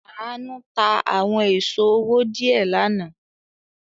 Àánú ta àwọn èso owó díẹ̀ lánàá.